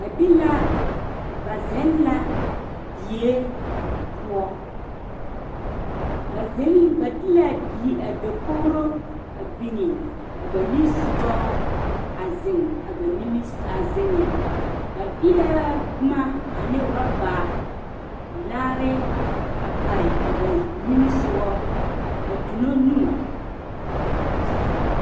Ba be la ba zeŋ la die poɔ ba biŋ la ba de la a dakogro biŋe a na nimisoga a zeŋ a ba nimi a zeŋ ba deɛ boma ane orɔba laare a pare a ba nimisoga a dumo nu